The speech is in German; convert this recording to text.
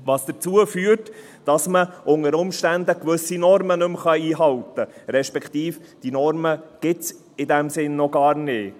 Das führt dazu, dass man unter Umständen gewisse Normen nicht mehr einhalten kann – respektive: Diese Normen gibt es in diesem Sinne noch gar nicht.